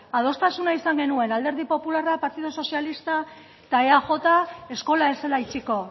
adostasuna izan genuen alderdi popularra partidu sozialista eta eaj eskola ez zela itxiko